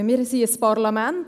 Wir sind ein Parlament.